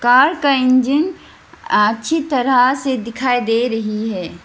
Car का engine अच्छी तरह से दिखाई दे रही है।